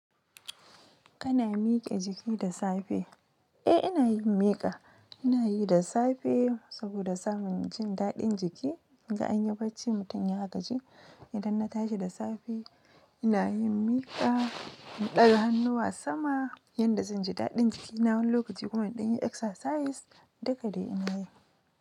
Kana miƙe jiki da safe? Eh, ina yin miƙa. Ina yi da safe saboda samun jin daɗin jiki. Anyi bacci mutum ya gaji idan na tashi da safe ina yin miƙa, in ɗaga hannuwa sama yanda zan ji daɗin jikina wani lokaci kuma indanyi exercise. Duka dai ina yi.